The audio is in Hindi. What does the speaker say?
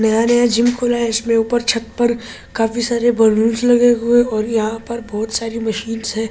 नया-नया जिम खुला है इसमें ऊपर छत पर काफी सारे बलूनस लगे हुए और यहां पर बहुत सारी मशीनस है एक्‍सरसाइज --